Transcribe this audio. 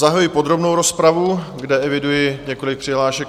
Zahajuji podrobnou rozpravu, kde eviduji několik přihlášek.